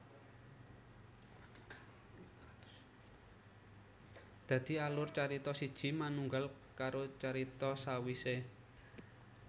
Dadi alur carita siji manunggal karo carita sawisé